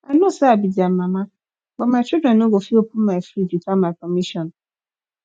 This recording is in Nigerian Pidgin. i know say i be their mama but my children no go fit open my fridge without my permission